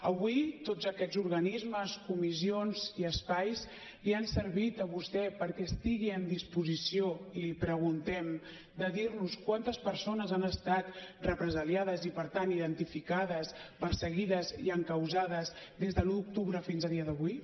avui tots aquests organismes comissions i espais li han servit a vostè perquè estigui en disposició l’hi preguntem de dir nos quantes persones han estat represaliades i per tant identificades perseguides i encausades des de l’un d’octubre fins a dia d’avui